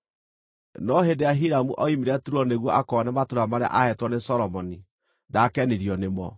No hĩndĩ ĩrĩa Hiramu ooimire Turo nĩguo akoone matũũra marĩa aaheetwo nĩ Solomoni, ndaakenirio nĩmo.